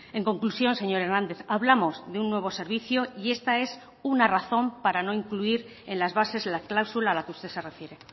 en conclusión señor hernández hablamos de un nuevo servicio y esta es una razón para no incluir en las bases la cláusula a la que usted se refiere